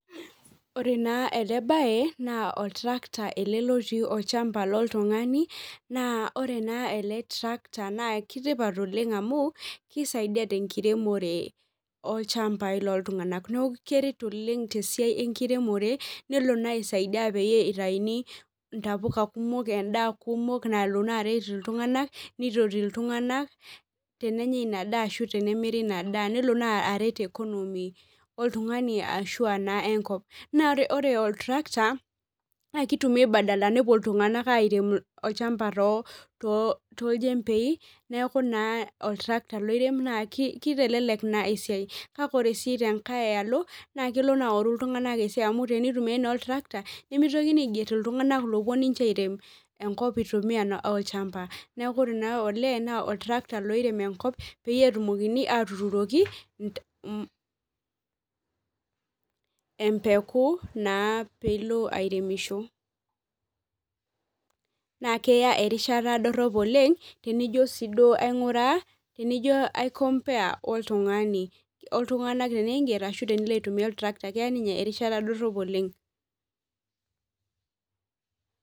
Ore naa ele baye naa oltarkta ele lotii olchamba loltung'ani naa ore naa ele tracta naa keitipat oleng amu keisaidia tenkiremore olchambai loltung'anak neeku keret oleng enkiremore nelo naa aisaidia peeitauni intapuka kumok endaa kumok nalo naa aret iltung'anak neitoti iltung'anak tenenyai ina daa ashu tenemiri ina daa nelo naa aret economy oltung'ani ashuua naa enkop naa ore oltrakta naa keitumiyai badala nepuo iltung'anak airem olchamba tooljembei neeku naa oltrakta oirem naaa keitelelek eaiai kake ore naa tenkai alo naa kelo aaoru iltung'anak esiai amu tenaitumiyai naa oltrakta nemepuoi naa aiger iltung'anak loopuo airem enkop. eitumiya naa olchamba neeku ore ele naa oltrakta loirem enkop peetumokini aatuuroki empeku naa piilo airemisho